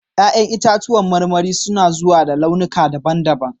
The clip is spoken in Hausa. Ya'yan itacen marmari suna zuwa da launuka daban-daban.